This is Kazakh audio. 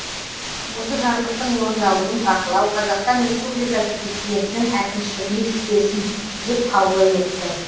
осы жарлықтың орындалуын бақылау қазақстан республикасы президентінің әкімшілігіне жүктелсін деп қаулы етті